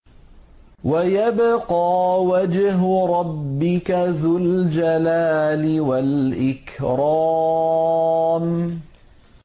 وَيَبْقَىٰ وَجْهُ رَبِّكَ ذُو الْجَلَالِ وَالْإِكْرَامِ